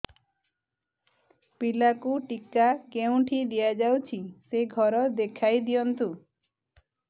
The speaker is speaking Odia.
ପିଲାକୁ ଟିକା କେଉଁଠି ଦିଆଯାଉଛି ସେ ଘର ଦେଖାଇ ଦିଅନ୍ତୁ